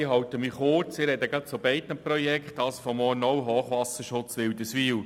Ich halte mich kurz und spreche gleich zu beiden Projekten, auch zum Hochwasserschutz Wilderswil.